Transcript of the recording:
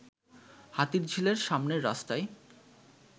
হাতিরঝিলের সামনের রাস্তায়